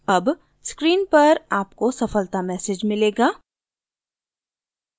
अब स्क्रीन पर आपको सफलता मैसेज मिलेगा